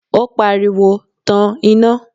ó pariwo, Tan iná!